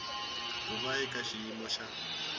ku va eka xiyimo xa